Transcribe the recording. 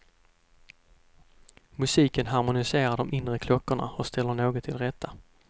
Musiken harmoniserar de inre klockorna och ställer något till rätta.